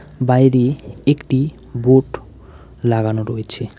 বাইরে একটি বোট লাগানো রয়েছে।